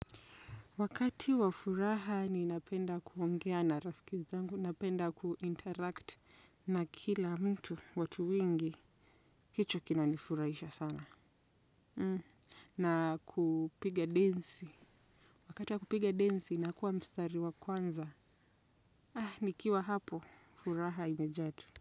Wakati wa furaha ninapenda kuongea na rafiki zangu, napenda kuinteract na kila mtu, watu wengi, hicho kinanifurahisha sana. Na kupiga dansi. Wakati wa kupiga dansi nakuwa mstari wa kwanza, ah, nikiwa hapo, furaha imejaa tele.